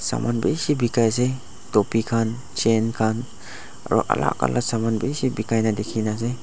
saman bishi bikai asae topi khan chain khan aro alak alak saman bishi bikai na dikina asae.